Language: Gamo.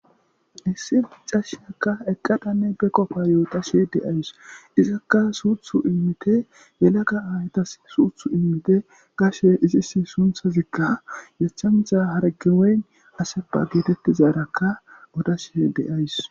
issi micashakka eqqadanne be qofa yootashe de'awus izakka suuthu immite yelaga aytas suuthu immite gashe izis sunthazikka yachamtha harge weyn asepa geetettizaarakka odashe de'awus